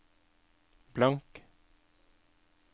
blank